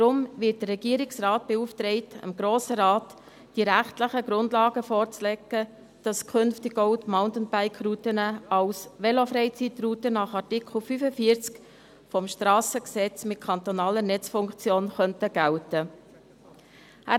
Deshalb wird der Regierungsrat beauftragt, dem Grossen Rat die rechtlichen Grundlagen dafür vorzulegen, dass künftig auch die Mountainbike-Routen als Velofreizeitrouten mit kantonaler Netzfunktion nach Artikel 45 SG gelten könnten.